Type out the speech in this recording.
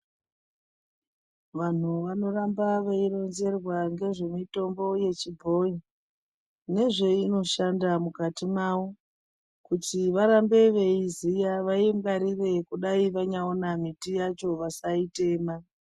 Vanhu vano ramba vei rodzerwa ngezve mitombo yechi bhoyi nezveino shanda mukati mavo kuti varambe veiziya vaingwarire kudai vanya ona miti yacho vasai tema.